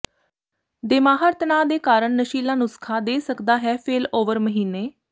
ਦੇਮਾਿਹਰ ਤਣਾਅ ਦੇ ਕਾਰਨ ਨਸ਼ੀਲਾ ਨੁਸਖ਼ਾ ਦੇ ਸਕਦਾ ਹੈ ਫੇਲਓਵਰ ਮਹੀਨੇ